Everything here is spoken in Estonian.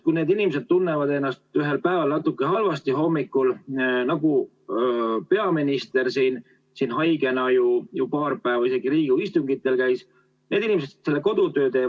Kui need inimesed tunnevad ennast ühel päeval natuke halvasti hommikul, siis nad teevad kodus oma töö ära ja tõenäoliselt esimesest päevast kohe haiguslehte võtma ei hakka.